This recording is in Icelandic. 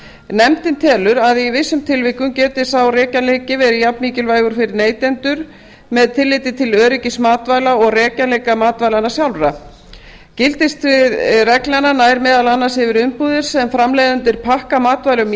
nefndin telur að í vissum tilvikum geti sá rekjanleiki verið jafnmikilvægur fyrir neytendur með tilliti til öryggis matvæla og rekjanleiki matvælanna sjálfra gildissvið reglnanna nær meðal annars yfir umbúðir sem framleiðendur pakka matvælum